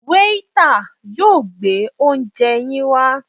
Waiter yóò gbé oúnje yín wá.